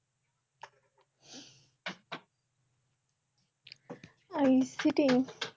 ICT